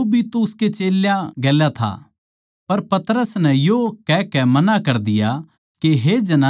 पर पतरस नै यो कहकै मना कर दिया के हे जनानी मै उसनै कोनी जाणदा